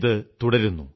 ഇതു തുടരുന്നു